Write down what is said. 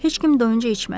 Heç kim doyunca içmədi.